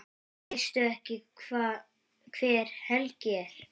Veistu ekki hver Helgi er?